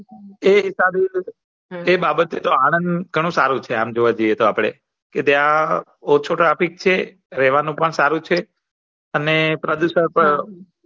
એ સારું ચ એ બાબતે તો આનંદ ઘણું સારું છે આમ જોવા જયીયે તો આપળે તો ત્યાં રેહવાનું પણ સારું છે અને પ્રદુષણ પણ